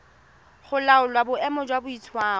go laola boemo jwa boitshwaro